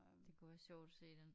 Det kunne være sjovt at se den